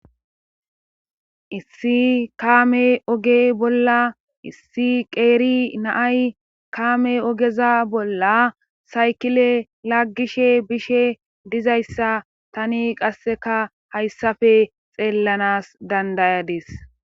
issi kaame oge bolla issi qeeri naay kaame ogeza bolla saykile laggishe bishe dizayssa tani qasseka hayssafe xeellanas dandayadis